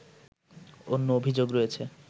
অন্য অভিযোগ রয়েছে